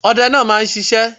Ọdẹ náà máa ń sisé